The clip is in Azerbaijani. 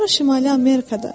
Sonra Şimali Amerikada.